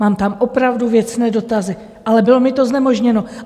Mám tam opravdu věcné dotazy, ale bylo mi to znemožněno.